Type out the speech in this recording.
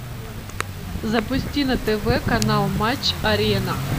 запусти на тв канал матч арена